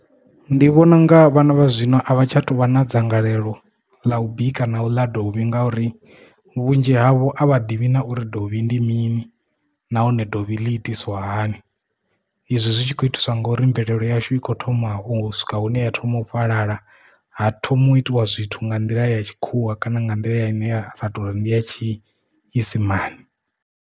Ndi vhona unga vhana vha zwino a vha tsha tou vha na dzangalelo ḽa u bika na u ḽa dovhi ngauri vhunzhi havho a vha ḓivhi nauri dovhi ndi mini nahone dovhi ḽi itiswa hani izwi zwi tshi kho itiswa nga uri mvelelo yashu i kho thoma u swika hune ya thoma u fhalala ha thoma u itiwa zwithu nga nḓila ya tshikhuwa kana nga nḓila ya ine ya ndi ya tshiisimani.